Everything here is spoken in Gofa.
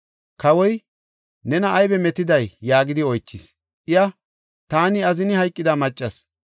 Kawoy, “Nena aybe metiday?” yaagidi oychis. Iya, “Taani azini hayqida maccas.